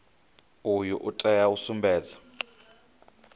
uyu u tea u sumbedza